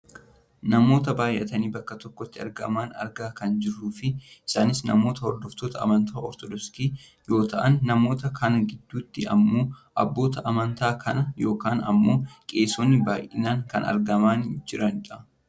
namoota baayyatanii bakka tokkotti argaman argaa kan jirruu fi isaanis namoota hordoftoota amantaa ortodoksii yoo ta'an namoota kana gidduutti ammoo abbootii amantaa kanaa yookaan ammoo qeesonni baayyinaan kan argamaa jiranidha.